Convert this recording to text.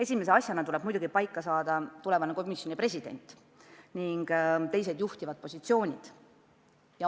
Esimese asjana tuleb muidugi otsustada tulevane komisjoni president ning teised juhtivad positsioonid.